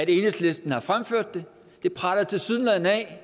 enhedslisten har fremført det det preller tilsyneladende af